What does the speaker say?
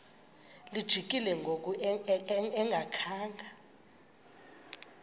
lijikile ngoku engakhanga